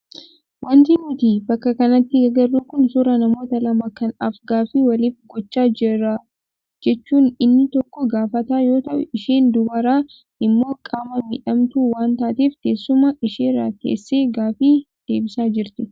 Wanti nuti bakka kanatti agarru kun suuraa namoota lama kan af-gaaffii waliif gochaa jiran jechuun inni tokko gaafataa yoo ta'u, isheen dubaraa immoo qaama miidhamtuu waan taateef teessuma isheerra teessee gaaffii deebisaa jirti.